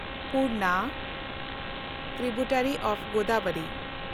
Purna (tributary of Godavari)